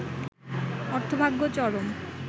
অর্থভাগ্য চরম